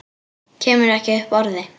Kemur ekki upp orði.